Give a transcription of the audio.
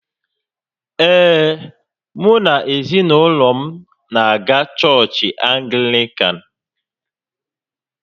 Ee, mụ na ezinaụlọ m na-aga chọọchị Anglịkan